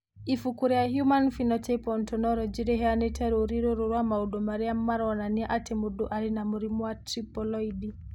Ibuku rĩa Human Phenotype Ontology rĩheanĩte rũũri rũrũ rwa maũndũ marĩa maronania atĩ mũndũ arĩ na mũrimũ wa Triploidy.